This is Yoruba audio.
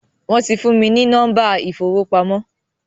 Wọn tí fún mi ní nọ́mba ìfowópamọ́